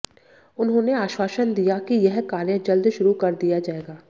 उन्होंने आश्वासन दिया कि यह कार्य जल्द शुरू कर दिया जाएगा